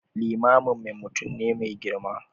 Limaminmu mutum ne mai girma.